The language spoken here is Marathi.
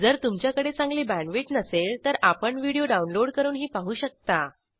जर तुमच्याकडे चांगली बॅण्डविड्थ नसेल तर आपण व्हिडिओ डाउनलोड करूनही पाहू शकता